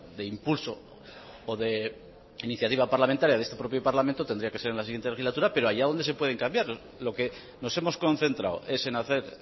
de impulso o de iniciativa parlamentaria de este propio parlamento tendría que ser en la siguiente legislatura pero allá donde se pueden cambiar lo que nos hemos concentrado es en hacer